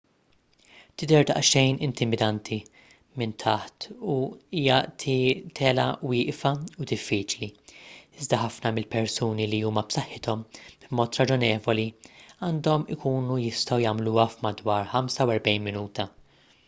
tidher daqsxejn intimidanti minn taħt u hija telgħa wieqfa u diffiċli iżda ħafna mill-persuni li huma b'saħħithom b'mod raġonevoli għandhom ikunu jistgħu jagħmluha f'madwar 45 minuta